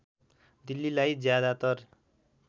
दिल्लीलाई ज्यादातर